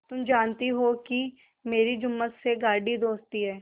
तुम जानती हो कि मेरी जुम्मन से गाढ़ी दोस्ती है